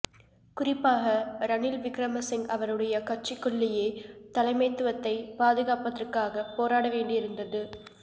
குறிப்பாக ரணில் விக்கிரமசிங்க அவருடைய கட்சிக்குள்ளேயே தலைமைத்துவத்தை பாதுகாப்பதற்காக போராட வேண்டியிருந்தது